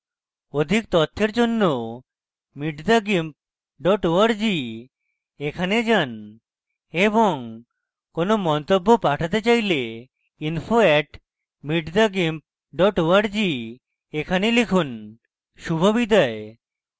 অধিক তথ্যের